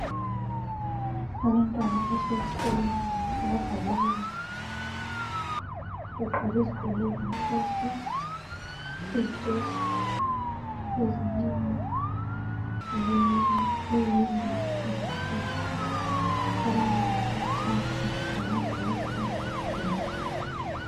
Abantwana abasesikolo ababhalayo begqoke izigqoko ezimhlophe leziketi ezimnyama ,leyembe ezimhlophe. Abanye bahlezi phansi lamabhuku phezu kwamabhentshi.